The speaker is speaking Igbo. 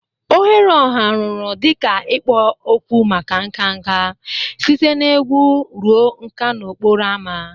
Oghere ọha rụrụ dị ka ikpo okwu maka nka nka, site na egwu ruo nka n'okporo ámá.